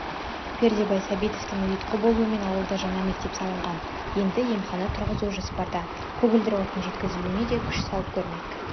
пердебай сәбитовтің ұйытқы болуымен ауылда жаңа мектеп салынған енді емхана тұрғызу жоспарда көгілдір отын жеткізілуіне де күш салып көрмек